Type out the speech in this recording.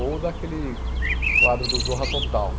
Ou daquele quadro do Zorra Total.